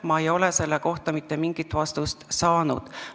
Ma ei ole mingit vastust saanud.